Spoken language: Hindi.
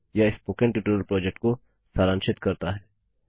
यह स्पोकन ट्यटोरियल प्रोजेक्ट को सारांशित करता है